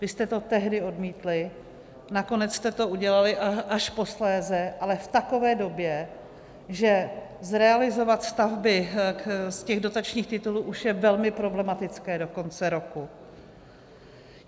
Vy jste to tehdy odmítli, nakonec jste to udělali až posléze, ale v takové době, že zrealizovat stavby z těch dotačních titulů už je velmi problematické do konce roku.